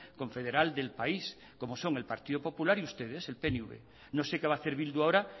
confederal del país como son el partido popular y ustedes el pnv no sé qué va a hacer bildu ahora